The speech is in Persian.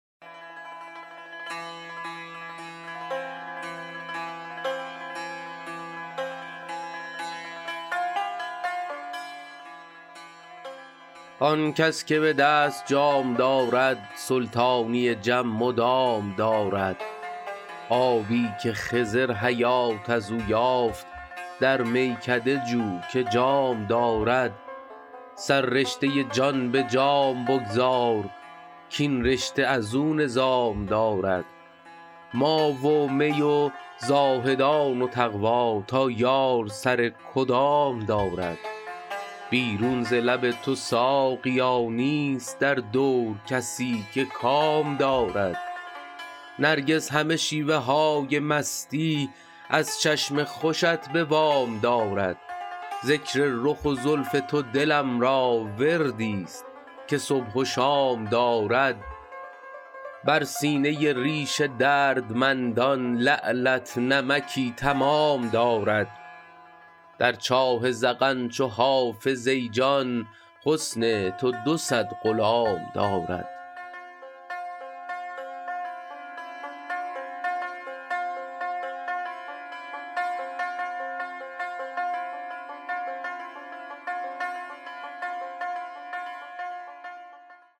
آن کس که به دست جام دارد سلطانی جم مدام دارد آبی که خضر حیات از او یافت در میکده جو که جام دارد سررشته جان به جام بگذار کاین رشته از او نظام دارد ما و می و زاهدان و تقوا تا یار سر کدام دارد بیرون ز لب تو ساقیا نیست در دور کسی که کام دارد نرگس همه شیوه های مستی از چشم خوشت به وام دارد ذکر رخ و زلف تو دلم را وردی ست که صبح و شام دارد بر سینه ریش دردمندان لعلت نمکی تمام دارد در چاه ذقن چو حافظ ای جان حسن تو دو صد غلام دارد